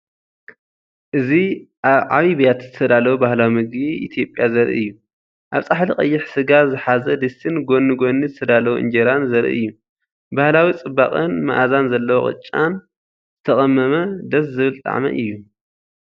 እዚ ኣብ ዓቢ ብያቲ ዝተዳለወ ባህላዊ መግቢ ኢትዮጵያ ዘርኢ እዩ። ኣብ ጻሕሊ ቀይሕ ስጋ ዝሓዘ ድስቲን ጎኒ ጎኒ ዝተዳለወ እንጀራን ዘርኢ እዩ። ባህላዊ ጽባቐን መኣዛን ዘለዎ ቅጫን ፡ ዝተቐመመነ ደስ ዝብል ጣዕሚ እዩ።